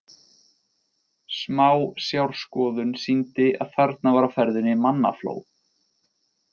Smásjárskoðun sýndi að þarna var á ferðinni mannafló.